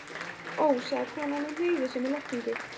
Ó, sagði konan og hneigði sig með lotningu.